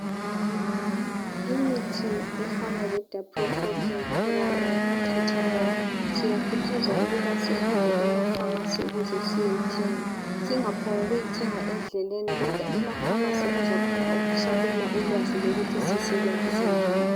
Imithi efana leDaprofophini khuramol Tatomol siyakhuthazwa ukuthi sihambe efamasi siyiyithenga, singaphonguthenga endleleni kodwa emafamasi khona bezasabela ulwazi ukuthi siyisebenzise njani.